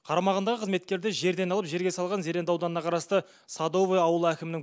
қарамағындағы қызметкерді жерден алып жерге салған зеренді ауданына қарасты садовое ауылы әкімінің